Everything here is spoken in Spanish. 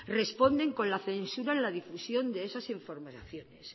responden con la censura en la difusión de esas informaciones